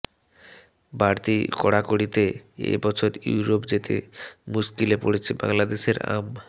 বাড়তি কড়াকড়িতে এ বছর ইউরোপ যেতে মুশকিলে পড়েছে বাংলাদেশের আম